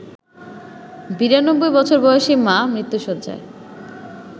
৯২ বছর বয়সী মা মৃত্যুশয্যায়